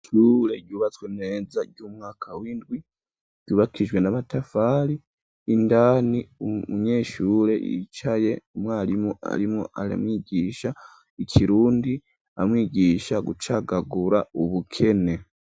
Ishure ryubatswe neza ry'umwaka windwi ryubakijwe n'amatafari, indani umunyeshure yicaye umwarimu arimwo aramwigisha ikirundi, amwigisha gucagagura ubukene.